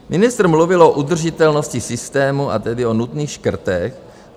Ministr mluvil o udržitelnosti systému a tedy o nutných škrtech.